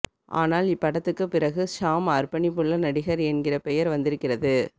ஆனால் இப் படத்துக்குப் பிறகு ஷாம் அர்ப்பணிப்புள்ள நடிகர் என்கிற பெயர் வந்திருக்கிறது